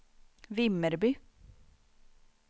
Vimmerby